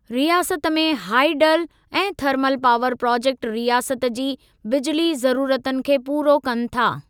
रियासत में हाईडल ऐं थर्मल पावर प्रोजेक्ट रियासत जी बिजिली ज़रुरतुनि खे पूरो कनि था।